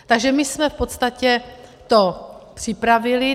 Takže my jsme v podstatě to připravili.